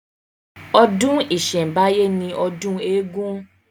Ọdún ìsẹ̀ǹbáyé ni ọdún eégún